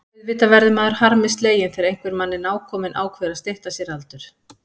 Auðvitað verður maður harmi sleginn þegar einhver manni nákominn ákveður að stytta sér aldur.